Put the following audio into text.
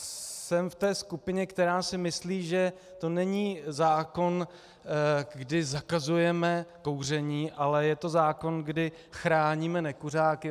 Jsem v té skupině, která si myslí, že to není zákon, kdy zakazujeme kouření, ale je to zákon, kdy chráníme nekuřáky.